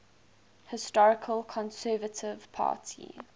historical conservative party